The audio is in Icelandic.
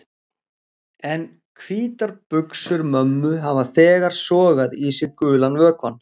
En hvítar buxur mömmu hafa þegar sogað í sig gulan vökvann.